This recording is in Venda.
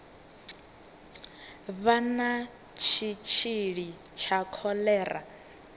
vha na tshitshili tsha kholera